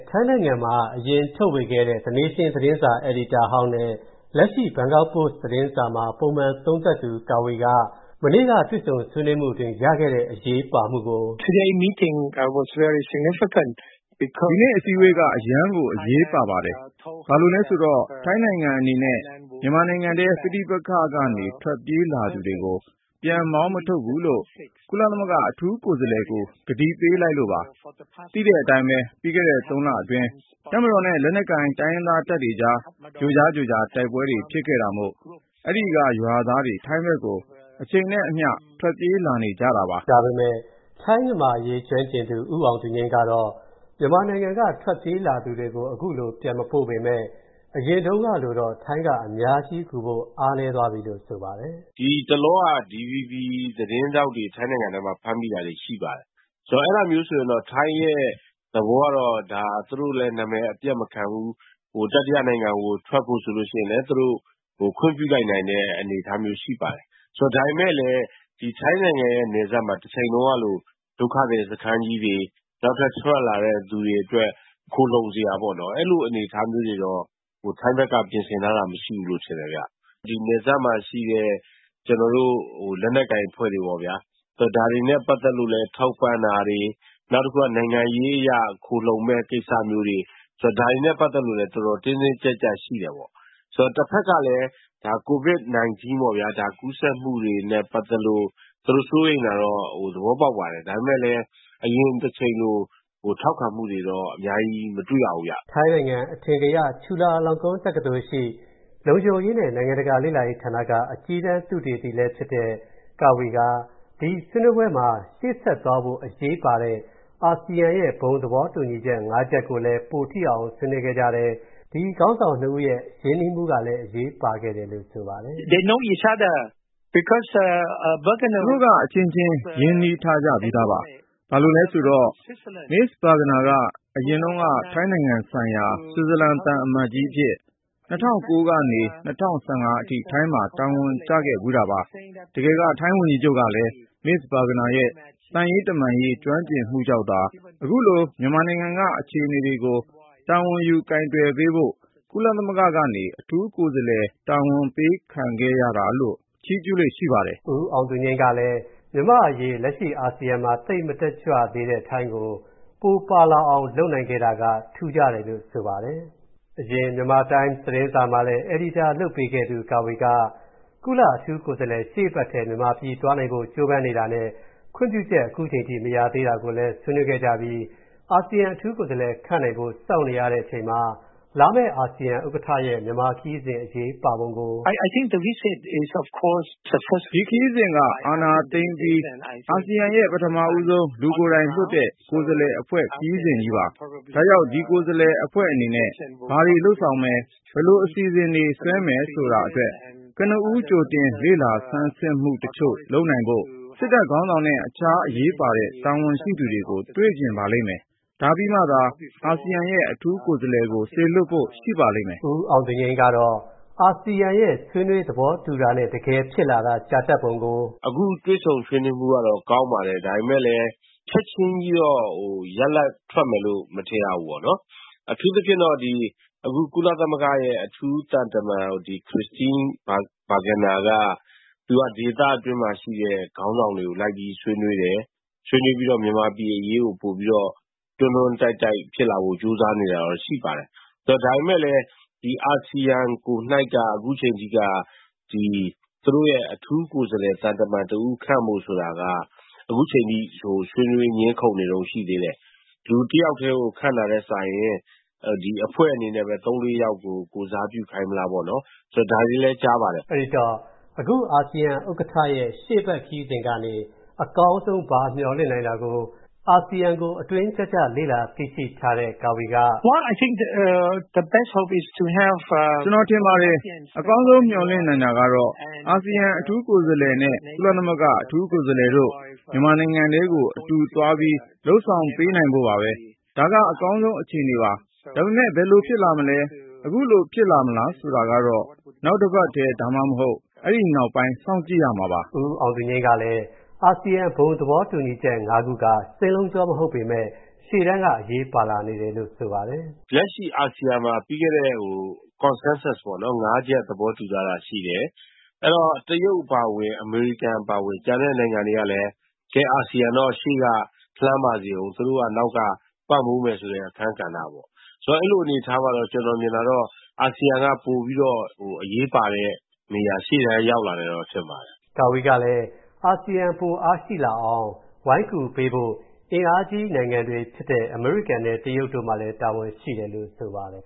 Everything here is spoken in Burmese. ထိုင်းနိုင်ငံမှာ အရင်ထုတ်ဝေခဲ့တဲ့ The Nations သတင်းစာ အယ်ဒီတာဟောင်းနဲ့လက်ရှိ Bangkok Post သတင်းစာမှာ ပုံမှန် သုံးသပ်သူ Kavi က မနေ့က တွေ့ဆုံဆွေးနွေးမှုအတွင်းရခဲ့တဲ့ အရေးပါမှုကို အခုလိုပြောပါတယ်။ "ဒီနေ့အစည်းအဝေးက အရမ်းကိုအရေးပါပါတယ်။ ဘာလို့လဲဆိုတော့ ထိုင်းနိုင်ငံအနေနဲ့၊ မြန်မာနိုင်ငံထဲပဋိပက္ခတွေကနေ ထွက်ပြေးလာသူတွေကို၊ ပြန်မောင်းမထုတ်ဘူးလို့ ကုလသမဂ္ဂအထူးကိုယ်စားလှယ်ကို ကတိပေးလိုက်လို့ပါ။ သိတဲ့အတိုင်းပဲလေ၊ ပြီးခဲ့တဲ့ ၃ လအတွင်း၊ တပ်မတော်နဲ့ လက်နက်ကိုင်တိုင်းရင်းသားတပ်တွေအကြား၊ ကြိကြားကြိုကြားတိုက်ပွဲတွေဖြစ်ခဲ့တာမို့၊ အဲ့ဒိက ရွာသားတွေ ထိုင်းဘက်ကို၊ အချိန်နဲ့အမျှ ထွက်ပြေးလာနေတယ်လေ။” ဒါပေမယ့် ထိုင်းမြန်မာအရေးကျွမ်းကျင်သူ ဦးအောင်သူငြိမ်းကတော့ မြန်မာနိုင်ငံကထွက်ပြေးလာသူတွေကို အခုလို ပြန်မပို ့ပေးမယ့် အရင်တုန်းကလိုတော့ ထိုင်းက အများကြီးကူဖို့အားနည်းသွားပြီလို့ဆိုပါတယ်။ “ ဒီတလော DVB သတင်းထောက်တွေ ထိုင်းနိုင်ငံထဲမှာ ဖမ်းမိတာတွေ ရှိပါတယ်။ အဲဒါမျိူးဆိုရင်တော့ ထိုင်းရဲ့သဘောကတော့ သူတို့လည်းနာမည်အပျက်မခံဘူး။ တတိယနိုင်ငံကို ထွက်ဖို့ဆိုလို့ရှိရင်လည်း သူတို့ခွင့်ပြုလိုက်နိုင်တဲ့ အနေအထားမျိူးရှိပါတယ်။ ဒါပေမယ့်လည်း ထိုင်းနိုင်ငံရဲ့ နယ်စပ်မှာ တချိန်တုန်းကလို ဒုက္ခသည်စခန်းကြီးတွေ၊ နောက်ထပ်ထွက်လာတဲ့သူတွေအတွက် ခိုလှုံစရာပေါ့နော်၊ အဲလိုအနေအထားမျိူးတွေတော့ ထိုင်းဘက်က ပြင်ဆင်ထားတာမရှိဘူးလို့ထင်တယ်ဗျ။ ဒီနယ်စပ်မှာရှိတဲ့ ကျနော်တို့ဒီလက်နက်ကိုင်အဖွဲ့တွေပေါ့ဗျာ။ ဒါတွေနဲ့ပက်သက်လို့လည်း ထောက်ပံ့တာတွေ၊ နောက်တခုက နိုင်ငံရေးအရ ခိုလှုံမယ့်ကိစ္စမျိူးတွေ၊ ဒါတွေနဲ့ပက်သက်လို့လည်း တော်တော်တင်းတင်းကြပ်ကြပ်ရှိတယ်ပေါ့။ တဘက်ကလည်း Covid-19 ကူးစပ်မှုတွေနဲ့ပက်သက်လို့သူတို့စိုးရိမ်တာတော့ သဘောပေါက်ပါတယ်။ ဒါပေမယ့်လည်း အရင်တချိန်လို ထောက်ခံမှုတွေတော့ အများကြီး မတွေ့ရဘူးဗျ။” ထိုင်းနိုင်ငံ အထင်ကရ ချူလာလောင်ကွန်းတက္ကသိုလ်ရှိ လုံခြုံရေးနဲ့နိုင်ငံတကာလေ့လာရေးဌာနက အကြီးတန်းသုတေသီလည်းဖြစ်တဲ့ Kavi က ဒီဆွေးနွေးပွဲမှာ ရှေ့ဆက်သွားဖို့အရေးပါတဲ့ အာဆီယံရဲ့ ဘုံသဘောတူညီချက် ငါးရပ်ကိုလည်း ပိုထိအောင်ဆွေးနွေးခဲ့ကြတဲ့ ဒီခေါင်းဆောင်နှစ်ဦးရဲ့ ရင်းနှီးမှုကလည်း အရေးပါခဲ့တယ်လို့ဆိုပါတယ်။ သူတို့ အချင်းချင်းက ရင်းနှီးထားကြပြီးသားပါ။ ဘာလို့လဲဆိုတော့ Ms Burgener က၊ အရင် ထိုင်းနိုင်ငံဆိုင်ရာ ဆွစ်ဇာလန်သံအမတ်ကြီးအဖြစ် ၂၀၀၉ ခုနှစ်ကနေ ၂၀၁၅ အထိ ထိုင်းမှာ တာဝန်ကျခဲ့ဖူးတာကိုး။ တကယ်က ထိုင်းဝန်ကြီးချုပ်ကလည်း၊ Ms Burgener ရဲ့ သံတမန်ရေးကျွမ်းကျင်မူကြောင့်သာ၊ အခုလို မြန်မာနိုင်ငံက အခြေအနေကို တာဝန်ယူကိုင်တွယ်ပေးဖို့၊ ကုလသမဂ္ဂကနေ အထူးကိုယ်စာလှယ်တာဝန်ပေးခံခဲ့ရတာလို့ ချီးကျူးလေ့ရှိပါတယ်။” ကိုအောင်သူငြိမ်းကလည်း မြန်မာ့အရေးလက်ရှိအာဆီယံမှာ သိပ်မတက်ကြွသေးတဲ့ ထိုင်းကို ပိုပါလာအောင်လုပ်နိုင်ခဲ့တာက ထူးခြားတယ်လို့ဆိုပါတယ်။ အရင်မြန်မာတိုင်းစ် သတင်းစာမှာလည်း အယ်ဒီတာလုပ်ပေးခဲ့သူ Kavi က ကုလ-အထူးကိုယ်စားလှယ်ရှေ့အပတ်ထဲ မြန်မာပြီးသွားရောက်ဖို့ကြိုးစားနေတာနဲ့ခွင့်ပြုချက်အခုချိန်အထိမရသေးဘူးဆိုတာကိုလည်း ဆွေးနွေးခဲ့ကြပြီး အာဆီယံအထူးကိုယ်စားလှယ်ခန့်နိုင်ဖို့စောင့်နေရတဲ့အချိန်မှာ လာမယ့်အာစီယံဥက္ကဌရဲ့ မြန်မာခရီးစဉ် အရေးပါပုံကို အခုလိုပြောပါတယ်။ “ဒီခရီးစဉ်က အာဏာသိမ်းအပြီး အာဆီယံရဲ့ ပထမဆုံး လူကိုယ်တိုင်လွှတ်တဲ့ ကိုယ်စားလှယ်အဖွဲ့ ခရီးစဉ်ကြီးပါ။ ဒါကြောင့် ဒီကိုယ်စားလှယ်အဖွဲ့အနေနဲ့ ဘာတွေ လုပ်ဆောင်မယ်၊ ဘယ်လိုအစီအစဉ်တွေဆွဲမယ်ဆိုတာအတွက်၊ ကနဦးကြိုတင်လေ့လာဆန်းစစ်မူ တချို.လုပ်နိုင်ဖို့၊ စစ်တပ်ခေါင်းဆောင်နဲ့ တခြားအရေးပါတဲ့ တာဝန်ရှိသူတွေကိုတွေ့ချင်ပါလိမ့်မယ်၊ ဒါပြီးမှာသာ၊ အာဆီယံရဲ့ အထူးကိုယ်စားလှယ်ကို စေလွှတ်ဖို့ ရှိပါလိမ့်မယ်။ ဦးအောင်သူငြိမ်းကတော့ အာဆီယံရဲ့ ဆွေးနွေးသဘောတူတာနဲ့တကယ်ဖြစ်လာတာ ကြာတတ်ပုံကို အခုလိုပြောပါတယ်။ ”အခုတွေ့ဆုံဆွေးနွေးမှုကတော့ ကောင်းပါတယ်။ ဒါပေမယ့်လည်း ချက်ချင်းကြီးတော့ ရလာဒ်ထွက်မယ်လို့မထင်ရဘူးပေါ့နော်။ အထူးသဖြင့်ပေါ့ ကုလသမဂ္ဂရဲ့ အထူးသံတမန် ခရစ်စတင်း ဘာဂနာက သူက ဒေသတွင်းမှာရှိတဲ့ခေါင်းဆောင်တွေကို လိုက်ပြီးဆွေးနွေးတယ်။ ဆွေးနွေးပြီးတော့ မြန်မာပြည်အရေးကို ပိုပြီးတွန်းတွန်းတိုက်တိုက်ဖြစ်လာဖို့ကြိုးစားနေတာတွေတော့ ရှိပါတယ်။ ဒါပေမယ့်လည်း ဒီ အာဆီယံကိုယ်တိုင်က အခုချိန်ထိ သူတို့ရဲ့ အထူးကိုယ်စားလှယ် သံတမန်တဦးခန့်ဖို့ဆိုတာက အခုချိန်ထိ ဆွေးနွေး ငြင်းခုန်နေတုန်းရှိသေးတယ်။ လူတယောက်ကိုပဲ ခန့်တာနဲ့စာရင် အဖွဲ့ထဲက သုံးလေးယောက်ကိုပဲ ကိုယ်စားပြုခိုင်းမလားပေါ့နော်။ ဒါတွေလည်း ကြားပါတယ်။” အဲဒီတော့ အခုအာဆီယံဥက္ကဌရဲ့ ရှေ ့အပတ်ခရီးစဉ်ကနေ အကောင်းဆုံးဘာမျှော်လင့်နိုင်သလဲဆိုတာနဲ့ပတ်သက်ပြီး အာဆီယံကို အတွင်းကျကျ လေ့လာသိရှိထားတဲ့ Kavi က အခုလို ပြောပါတယ်။ "ကျွန်တော်ထင်ပါတယ်။ အကောင်းဆုံးမျှော်လင့်နိုင်တာကတော့၊ အာဆီယံ အထူးကိုယ်စာလှယ်နဲ့ ကုလသမဂ္ဂ အထူးကိုယ်စားလှယ်တို့ မြန်မာနိုင်ငံထဲကို အတူတွဲသွားပြီး လုပ်ဆောင်ပေးနိုင်ဖို့ပေါ့နော်။ ဒါက အကောင်းဆုံးအခြေအနေပါ။ ဒါပေမဲ့ ဘယ်လိုဖြစ်လာမလဲ၊ အခုလိုဖြစ်လာမလားဆိုတာကတော့၊ နောက်အပတ်ထဲ၊ ဒါမှမဟုတ် အဲ့ဒိနောက်ပိုင်းကို စောင့်ကြည့်ရဦးမှာပါ။" ဦးအောင်သူငြိမ်းကလည်း အာဆီယံ ဘုံသဘောတူညီချက်(၅)ခုက စင်းလုံးချောမဟုတ်ပေမယ့် ရှေ့တန်းက အရေးပါလာနေတယ်လို့ဆိုပါတယ်။ "လက်ရှိအာဆီယံမှာ ပြီးခဲ့တဲ့ Consensus ပေါ့နော်။ (၅) ချက်သဘောတူထားတာရှိတယ်။ အဲဒီတော့ တရုတ်အပါအဝင်၊ အမေရိကန်အပါအဝင် ကျန်တဲ့နိုင်ငံတွေကလည်း အာဆီယံတော့ အရှေ့က လှမ်းပါစေဦး။ သူတို့က နောက်က ပံ့ပိုးမယ်ဆိုတဲ့ အခန်း ကဏ္ဍပေါ့။ အဲလိုအနေအထားမှာ ကျနော်မြင်တာကတော့ အာဆီယံက ပိုပြီး အရေးပါတဲ့ နေရာမှာ ရှေ့တန်းရောက်လာတယ်ထင်ပါတယ်။" Kavi ကလည်း အာဆီယံ ပိုအားရှိလာအောင် ဝိုင်းကူပေးဖို့အင်အားကြီးနိုင်ငံတွေဖြစ်တဲ့ အမေရိကန်နဲ့တရုတ်တို့မှာလည်း တာဝန်ရှိတယ်လို့ဆိုပါတယ်